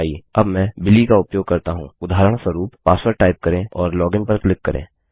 अब मैं बिली का उपयोग करता हूँ उदाहरणस्वरूप पासवर्ड टाइप करें और लोगिन लॉगिन पर क्लिक करें